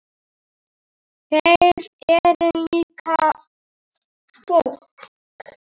Þeir eru líka fólk.